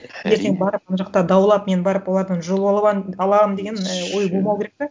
ертең барып мына жақта даулап мен барып олардан жұлып аламын деген і ой болмау керек те